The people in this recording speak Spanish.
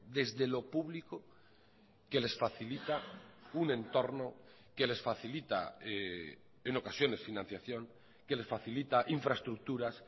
desde lo público que les facilita un entorno que les facilita en ocasiones financiación que les facilita infraestructuras